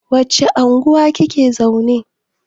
wacce unguwa kake zaune?